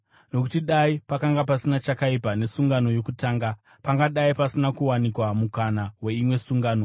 Nokuti dai pakanga pasina chakaipa nesungano yokutanga pangadai pasina kuwanikwa mukana weimwe sungano.